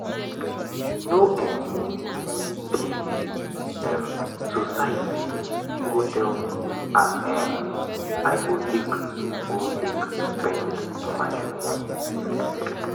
no um be um society go tell me as um i go take go take spend my moni.